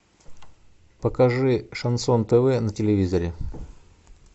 покажи шансон тв на телевизоре